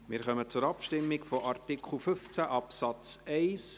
Wir kommen zur Abstimmung über Artikel 15 Absatz 1.